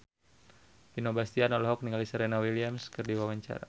Vino Bastian olohok ningali Serena Williams keur diwawancara